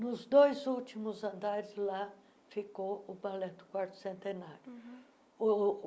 Nos dois últimos andares, lá ficou o balé do Quarto Centenário.